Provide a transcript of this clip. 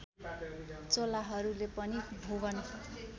चोलाहरूले पनि भुवन